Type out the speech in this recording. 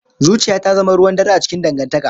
Zuciya ta zama ruwan dare a cikin dangantaka